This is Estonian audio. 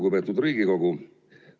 Lugupeetud Riigikogu!